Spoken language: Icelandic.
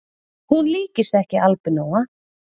Hún líkist ekki albinóa